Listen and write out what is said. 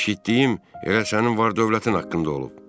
Eşitdiyim elə sənin var-dövlətin haqqında olub.